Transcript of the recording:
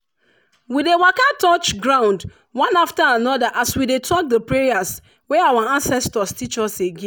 we dey waka touch ground one after another as we dey talk the prayers wey our ancestors teach us again.